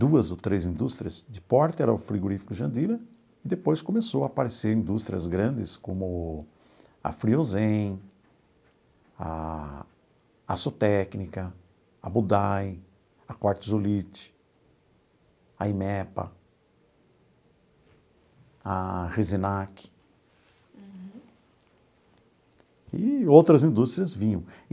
duas ou três indústrias de porta, era o frigorífico Jandira, e depois começou a aparecer indústrias grandes como a Friozem, a Açotécnica, a Budai, a Quartzolit, a Imepa, a Resenac e outras indústrias vinham.